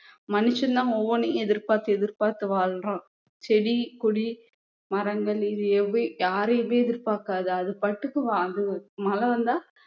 மனுஷன் தான் ஒவ்வொண்ணையும் எதிர்பார்த்து எதிர்பார்த்து வாழ்றான் செடி கொடி மரங்கள் இது எவை யாரையுமே எதிர்பார்க்காது அது பாட்டுக்கு அது மழை வந்தா